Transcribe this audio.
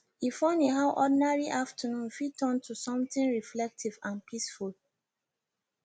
e funny how ordinary afternoon fit turn to something reflective and peaceful